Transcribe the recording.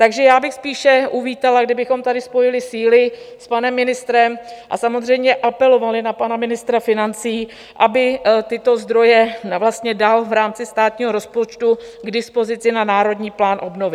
Takže já bych spíše uvítala, kdybychom tady spojili síly s panem ministrem a samozřejmě apelovali na pana ministra financí, aby tyto zdroje vlastně dal v rámci státního rozpočtu k dispozici na Národní plán obnovy.